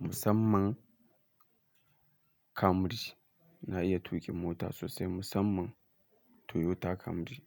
musamman Camry. Na iya tuƙin mota sosai musamman Toyota Camry.